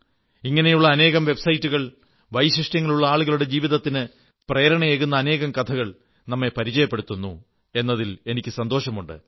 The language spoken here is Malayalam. ഇങ്ങനെയുള്ള അനേകം വെബ്സൈറ്റുകൾ വൈശിഷ്ട്യങ്ങളുള്ള ആളുകളുടെ ജീവിതത്തിന് പ്രേരണയേകുന്ന അനേകം കഥകൾ നമ്മെ പരിചയപ്പെടുത്തുന്നു എന്നതിൽ എനിക്ക് സന്തോഷമുണ്ട്